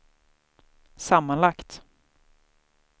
sammanlagt